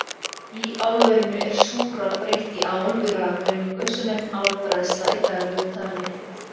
Í álverinu er súrál breytt í ál við rafgreiningu, sem nefnist álbræðsla í daglegu tali.